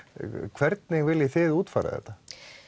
hvernig viljið þið útfæra þetta